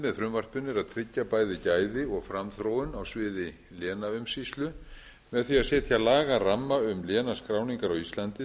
með frumvarpinu er að tryggja bæði gæði og framþróun á sviði lénaumsýslu með því að setja lagaramma um lénaskráningar á íslandi